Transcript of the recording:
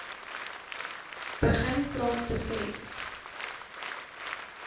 begin praat besef